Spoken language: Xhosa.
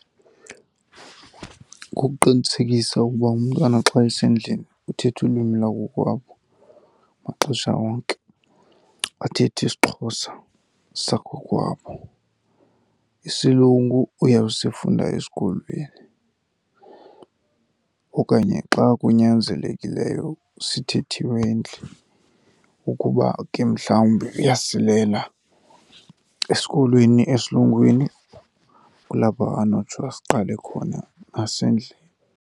Kukuqinisekisa ukuba umntwana xa esendlini uthetha ulwimi lwakokwabo maxesha wonke, athethe isiXhosa sakokwabo. Isilungu uyawusifunda esikolweni okanye xa kunyanzelekileyo sithethiwe endlini. Ukuba ke mhlawumbi uyasilela esikolweni esilungwini kulapho anotsho asiqale khona nasendlini.